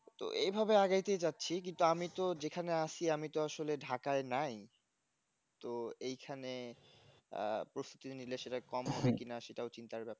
তো এভাবে আগাইতে যাচ্ছি কিন্তু আমি তো যেখানে আছি আমি তো আসলে ঢাকায় নাই তো এখানে আহ প্রস্তুতি নিলে সেটা কম হয় কিনা সেটাও চিন্তার ব্যাপার